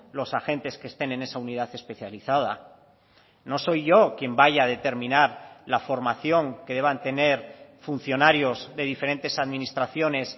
los agentes que estén en esa unidad especializada no soy yo quien vaya a determinar la formación que deban tener funcionarios de diferentes administraciones